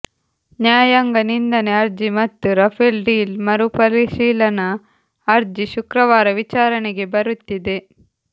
ನ್ಯಾಯಾಂಗ ನಿಂದನೆ ಅರ್ಜಿ ಮತ್ತು ರಫೇಲ್ ಡೀಲ್ ಮರುಪರಿಶೀಲನಾ ಅರ್ಜಿ ಶುಕ್ರವಾರ ವಿಚಾರಣೆಗೆ ಬರುತ್ತಿದೆ